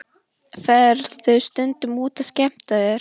Ferðu stundum út að skemmta þér?